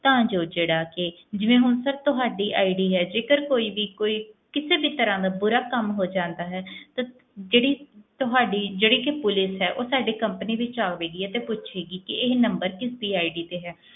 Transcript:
ਤਾਂ ਜੋ ਜਿਹੜਾ ਕਿ ਜਿਵੇਂ ਹੁਣ sir ਤੁਹਾਡੀ ID ਆ ਜੇਕਰ ਕੋਈ ਵੀ ਕੋਈ ਕਿਸੇ ਵੀ ਤਰ੍ਹਾਂ ਦਾ ਬੁਰਾ ਕੰਮ ਹੋ ਜਾਂਦਾ ਹੈ ਤੇ ਜਿਹੜੀ ਤੁਹਾਡੀ ਜਿਹੜੀ ਕਿ ਪੁਲਿਸ ਹੈ ਉਹ ਸਾਡੇ company ਵਿੱਚ ਆਵੇਗੀ ਅਤੇ ਪੁੱਛੇਗੀ ਕਿ ਇਹ number ਕਿਸਦੀ ID ਤੇ ਹੈ,